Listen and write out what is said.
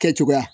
Kɛ cogoya